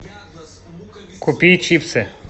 купи чипсы